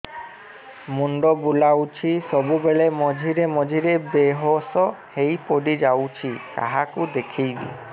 ମୁଣ୍ଡ ବୁଲାଉଛି ସବୁବେଳେ ମଝିରେ ମଝିରେ ବେହୋସ ହେଇ ପଡିଯାଉଛି କାହାକୁ ଦେଖେଇବି